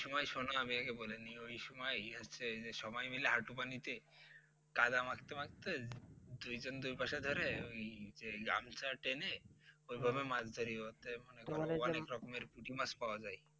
এই সময় শুনো না আমি আগে বলে নেই ওই সময় সবাই মিলে হাঁটু পানি তে কাদা মাখতে মাখতে দুইজন দুই পাশে ধরে ওই যে গামছা টেনে ওইভাবে মাছ ধরি তো মনে করো অনেক রকমের পুঁটি মাছ পাওয়া যায়